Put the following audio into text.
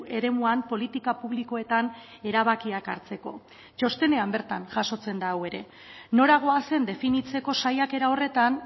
eremuan politika publikoetan erabakiak hartzeko txostenean bertan jasotzen da hau ere nora goazen definitzeko saiakera horretan